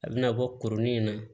A bɛna bɔ kurunin in na